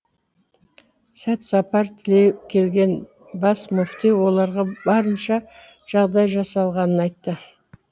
сәт сапар тілей келген бас мүфти оларға барынша жағдай жасалғанын айтты